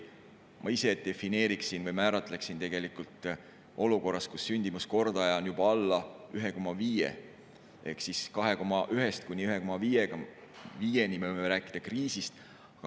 Ma ise defineeriksin või määratleksin selle nii, et olukorras, kus sündimuskordaja on juba alla 1,5 ehk siis 2,1-st kuni 1,5-ni, me võime rääkida kriisist.